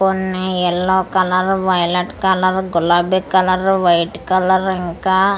కొన్ని yellow colour violet colour గులాబీ colour white colour ఇంకా--